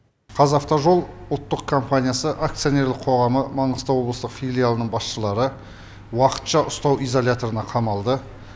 қазавтожол ұлттық компаниясы акционерлік қоғамы маңғыстау облыстық филиалының басшылары уақытша ұстау изоляторына қамалды